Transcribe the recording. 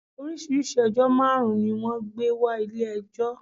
Orísíirìsíi ẹjọ́ máàrun ni wọ́n gbé wa Ilé ẹjọ́